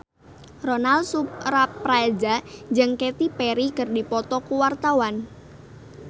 Ronal Surapradja jeung Katy Perry keur dipoto ku wartawan